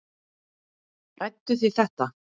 Ræddu þið þetta?